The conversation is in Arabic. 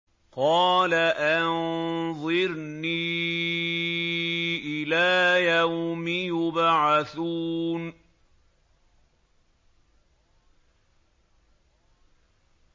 قَالَ أَنظِرْنِي إِلَىٰ يَوْمِ يُبْعَثُونَ